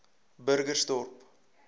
burgersdorp